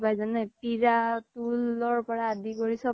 জেনে পিৰা তূল আদি কৰিৰ পৰা চ্'ব পাই